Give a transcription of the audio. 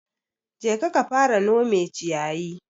Jeka ka fara nome ciyayi.